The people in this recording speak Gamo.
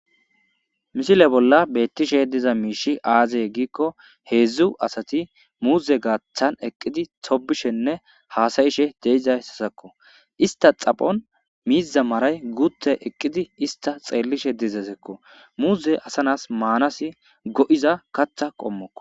misile bolla beettishe diza miishi aaze giikko heedzdzu asati muuze gaaththan eqqidi sobishenne haasayishe deizaysasakko ista xaphon miiza maray guutte eqqidi ista xeellishe dizesekko muuze asanas maanasi go7iza katha qommokko